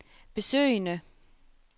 besøgende